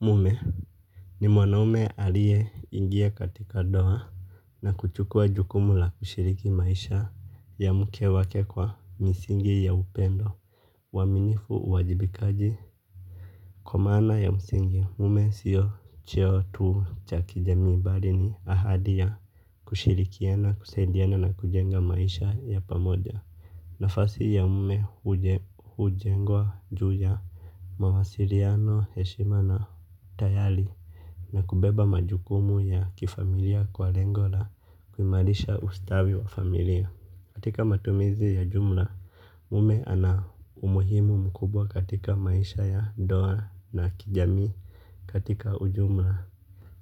Mume, ni mwanaume alie ingia katika doa na kuchukua jukumu la ushiriki maisha ya mke wake kwa, misingi ya upendo. Waminifu, uwajibikaji, kwa maana ya msingi. Mume sio cheo tu, cha kijamii bari ni ahadi ya kushirikiana, kusaidiana na kujenga maisha ya pamoja. Nafasi ya mume hujengwa, Juja Mawasiriano, heshima na tayali na kubeba majukumu ya, kifamilia kwa lengo la, kuimarisha ustawi wa famiria. Katika matumizi ya jumla, mume ana umuhimu mkubwa katika maisha ya, ndoa na kijamii. Katika ujumla.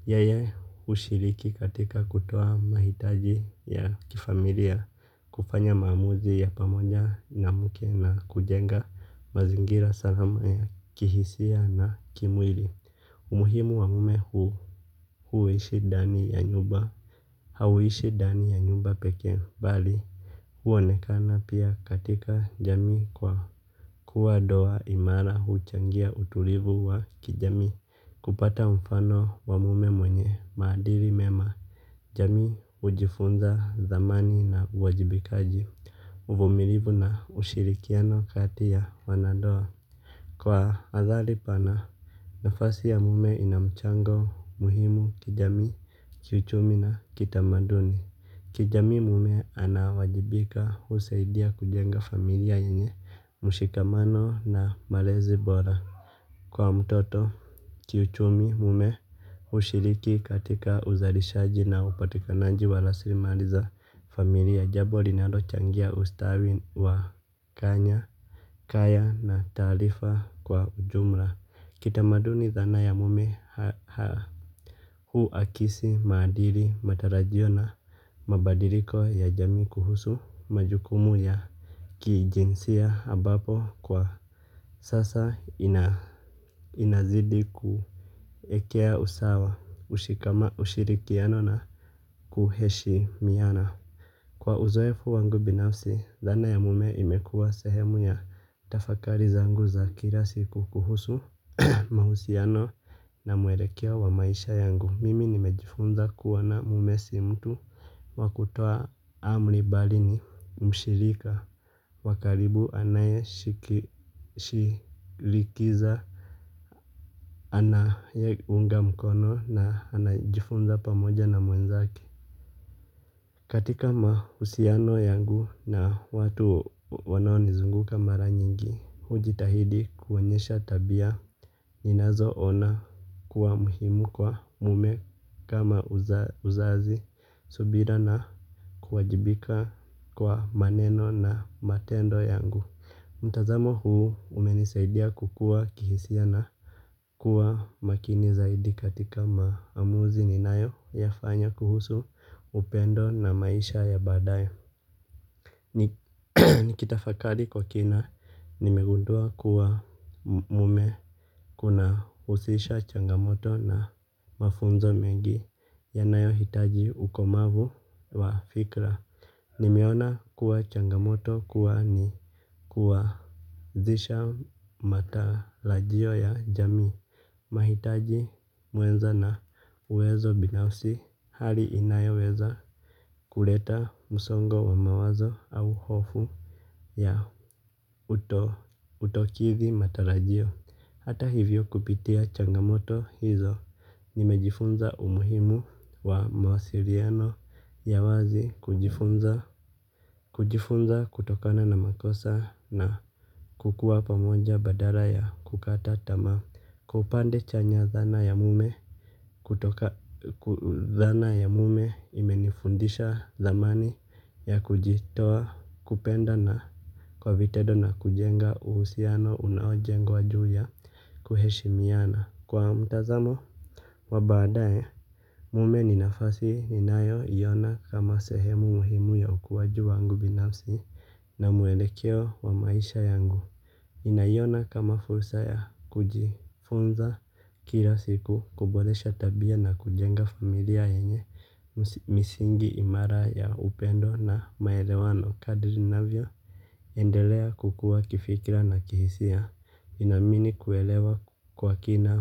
Yeye hushiriki katika kutoa mahitaji ya, kifamilia, kufanya maamuzi ya pamoja na mke na kujenga mazingira salama ya kihisia na kimwili, umuhimu wa mume huu huishi dani ya nyumba, hauishi dani ya nyumba pekee. Bali huonekana pia katika jamii kwa, kuwa doa imara huuchangia utulivu wa, kijami. Kupata mfano wa mume mwenye, maadiri mema, jamii hujifunza thamani na uwajibikaji. Uvumilivu na, ushirikiano kati ya wana ndoa. Kwa, athali pana, nafasi ya mume ina mchango muhimu kijamii, kiuchumi na kitamaduni. Kijamii, mume, anaowajibika husaidia kujenga familia yenye, mushikamano na malezi bora. Kwa mtoto, kiuchumi, mume hushiriki katika uzalishaji na upatikanaji wa raslimari za familia. Jabo linalochangia ustawi wa, kanya, kaya na taalifa kwa ujumla. Kitamaduni thana ya mume haa hu akisi maadiri matarajio na mabadiriko ya jamii kuhusu majukumu ya, kijinsia abapo, kwa sasa inazidi kuekea usawa. Ushikama ushirikiano na kuheshimiana. Kwa uzoefu wangu binafsi, thana ya mume imekuwa sehemu ya tafakari zangu za kilasiku kuhusu mahusiano na mwelekeo wa maisha yangu. Mimi nimejifuza kuona mume si mtu wa kutoa amri bari ni, mshirika. Wakaribu anaye shirikiza anayeunga mkono na anajifunza pamoja na mwenzake. Katika mahusiano yangu na watu wanaonizunguka mara nyingi, hujitahidi kuonyesha tabia. Ninanzo ona kuwa muhimu kwa mume, kama uzazi, subira na kuwajibika kwa maneno na matendo yangu. Mtazamo huu, umenisaidia kukua kihisia na kuwa makini zaidi katika maamuzi ni nayo ya fanya kuhusu upendo na maisha ya badayo. Nikitafakali kwa kina, nimegundua kuwa mume kuna usisha changamoto na mafunzo mengi ya nayo hitaji ukomavu, wa fikra. Nimeona kuwa changamoto kuwa ni kuwa zisha matalajio ya jamii. Mahitaji, muenza na uwezo binafsi hali inayoweza kuleta musongo wa mawazo au hofu ya utokithi matarajio. Hata hivyo, kupitia changamoto hizo, nimejifunza umuhimu wa mawasiriano ya wazi kujifunza kutokana na makosa na, kukuwa pamoja badara ya kukata tama kwa upande chanya dhana ya mume kutoka dhana ya mume imenifundisha dhamani ya kujitoa kupenda na kwa vitendo na kujenga uhusiano unao jengwa juu ya kuheshimiana kwa mtazamo wa baadaye mume ni nafasi ninayo iona kama sehemu muhimu ya ukuwaji wangu binafsi na mwelekeo wa maisha yangu ninaiona kama fursa ya kujifunza kila siku kuboresha tabia na kujenga familia yenye misingi imara ya upendo na maelewano kadirinavyo. Endelea kukua kifikira na kihisia. Nina amini kuelewa kwa kina.